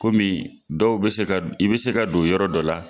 Kɔmi dɔw bɛ se ka, i bɛ se don yɔrɔ dɔ la.